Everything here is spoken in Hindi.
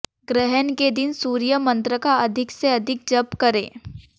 ग्रहण के दिन सूर्य मंत्र का अधिक से अधिक जप करें